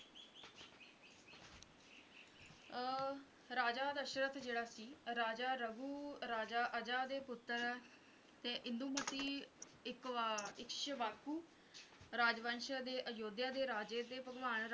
ਅਹ ਰਾਜਾ ਦਸ਼ਰਥ ਜਿਹੜਾ ਸੀ ਰਾਜਾ ਰਘੁ ਰਾਜਾ ਅਜਾ ਦੇ ਪੁੱਤਰ ਤੇ ਇੰਦੁਮਤੀ ਇੱਕ ਵਾਰ ਇਕਸ਼ਵਾਕੂ ਰਾਜਵੰਸ਼ ਦੇ ਅਯੁਧਿਆ ਦੇ ਰਾਜੇ ਤੇ ਭਗਵਾਨ